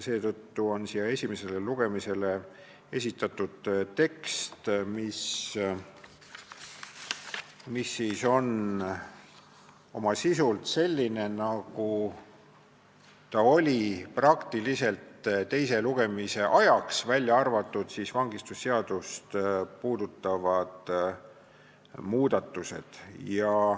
Seetõttu on esimesele lugemisele esitatud tekst, mis on oma sisult selline, nagu ta oli teise lugemise ajaks, välja arvatud vangistusseaduse muudatused.